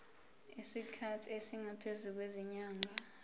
isikhathi esingaphezulu kwezinyanga